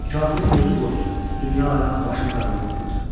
Kafirin gözü qorxdu, dünya-aləm başına qaranlıq oldu.